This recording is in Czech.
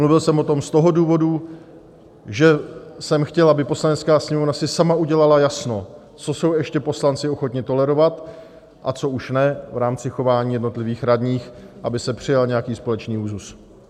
Mluvil jsem o tom z toho důvodu, že jsem chtěl, aby Poslanecká sněmovna si sama udělala jasno, co jsou ještě poslanci ochotni tolerovat a co už ne v rámci chování jednotlivých radních, aby se přijal nějaký společný úzus.